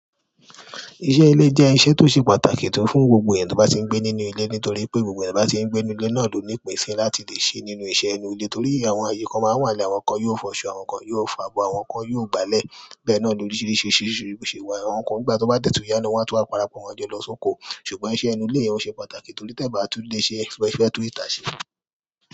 Iṣẹ́ ilé jẹ iṣẹ́ tí o ṣe pàtàkì tó fún gbogbọ èyàn tó bá ti ń gbé nínú ilé nitoripe gbogbo èyàn tó bati ń gbé nínú ilé náà loni ìpín sí láti lè ṣe nínú iṣẹ́ inú ilé torí àwọn ayé kan máa ń wá. Àwọn kan yóò fọṣọ, àwọn kan yóò fọ abọ́, àwọn kan yóò gbálẹ̀. Bẹ́ẹ̀ náà ni oríṣiríṣi risi. Àwọn kan nígbà tó bá dètù yá ni wọn tó máa parapọ̀ wọn jọ lọ sóko. Ṣùgbọ́n iṣẹ́ inú ilé òun ṣe pàtàkì torí tẹ́ bá ti lè ṣe ẹ fi ẹ tó ìtà ṣe.